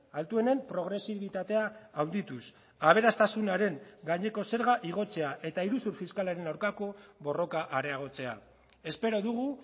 altuenen progresibitatea handituz aberastasunaren gaineko zerga igotzea eta iruzur fiskalaren aurkako borroka areagotzea espero dugu